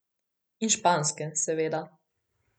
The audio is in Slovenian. In španske, seveda.